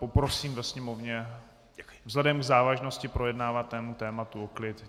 Poprosím ve sněmovně, vzhledem k závažnosti projednávaného tématu, o klid.